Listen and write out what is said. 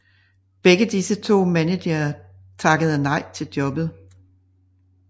Begge disse managere takkede nej til jobbet